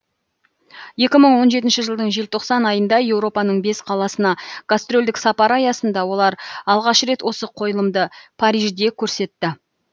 екі мың он жетінші жылдың желтоқсан айында еуропаның бес қаласына гастрольдік сапар аясында олар алғаш рет осы қойылымды парижде көрсетті